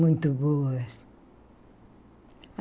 Muito boas.